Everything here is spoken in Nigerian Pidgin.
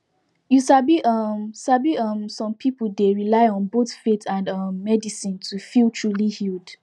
you sabi um sabi um som pipul dey rely on both faith and um medicine to feel truly healed